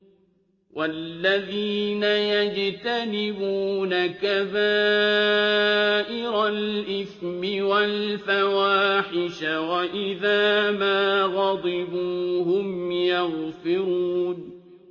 وَالَّذِينَ يَجْتَنِبُونَ كَبَائِرَ الْإِثْمِ وَالْفَوَاحِشَ وَإِذَا مَا غَضِبُوا هُمْ يَغْفِرُونَ